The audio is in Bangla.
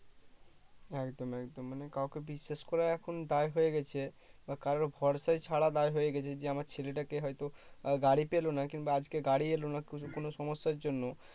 একদম একদম মানে কাউকে বিশ্বাস করা এখন দায়ে হয়ে গেছে বা কারুর ভরসায় ছাড়া দায়ে হয়ে গেছে যে আমার ছেলেটাকে হয়তো গাড়ি পেলো না কিংবা আজকে গাড়ি এলো না কোনো কোনো সমস্যার জন্য